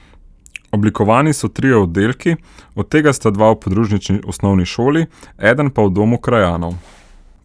Oblikovani so trije oddelki, od tega sta dva v podružnični osnovni šoli, eden pa v domu krajanov.